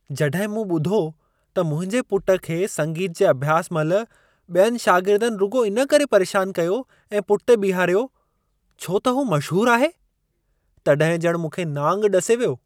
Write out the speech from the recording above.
जॾहिं मूं ॿुधो त मुंहिंजे पुट खे संगीत जे अभ्यास महिल ॿियनि शागिर्दनि रुॻो इन करे परेशान कयो ऐं पुठिते बीहारियो, छो त हू मशहूर आहे, तॾहिं ॼणु मूंखे नांग ॾसे वियो।